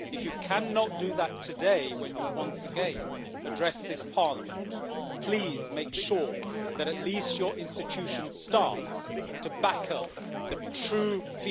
If you cannot do that today when you once again address this Parliament, please make sure that at least your institution starts to back up the true feelings of